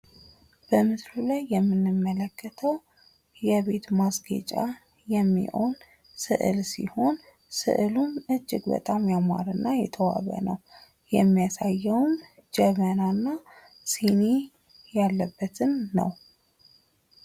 በምስሉ ላይ የምንመለከተው የቤት ማስጌጫ የሚሆን ስዕል ሲሆን ስዕሉም እጅግ በጣም ያማረ እና የተዋበ ነው ። የሚያሳየውም ጀበና እና ሲኒ ያለበትን ነው።